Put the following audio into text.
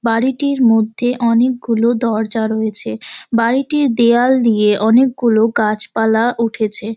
বাড়িটির মধ্যে অনেকগুলো দরজা রয়েছে বাড়িটির দেওয়াল দিয়ে অনেকগুলো গাছপালা উঠেছে।